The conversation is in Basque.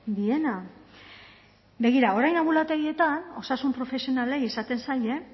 diena begira orain anbulategietan osasun profesionalei esaten zaie